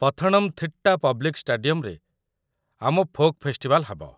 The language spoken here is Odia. ପଥଣମ୍‌ଥିଟ୍ଟା ପବ୍ଲିକ୍ ଷ୍ଟାଡିୟମ୍‌ରେ ଆମ ଫୋକ୍ ଫେଷ୍ଟିଭାଲ୍ ହବ ।